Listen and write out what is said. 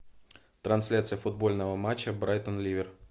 трансляция футбольного матча брайтон ливер